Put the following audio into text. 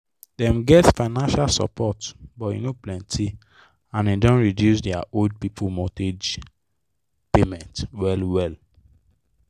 dem get financial support but e no plenty and e don reduce their old people mortgage payments well well.